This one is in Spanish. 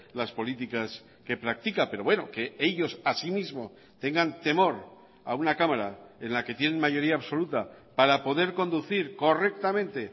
las políticas que practica pero bueno que ellos asimismo tengan temor a una cámara en la que tienen mayoría absoluta para poder conducir correctamente